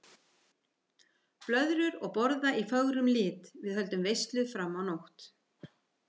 Blöðrur og borða í fögrum lit, við höldum veislu fram á nótt.